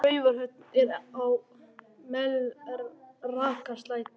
Raufarhöfn er á Melrakkasléttu.